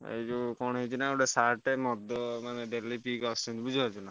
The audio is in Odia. ଏଇ ଯୋଉ କଣ ହେଇଛି ନାଁ ଗୋଟେ sir ଟେ ମଦ ମାନେ ପିଇକି daily ପିଇକି ଆସୁଛନ୍ତି ବୁଝି ପାରୁଚନାଁ।